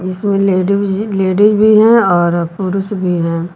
जिसमें ladies ladies भी हैं और पुरुष भी हैं।